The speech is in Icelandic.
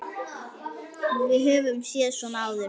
Við höfum séð svona áður.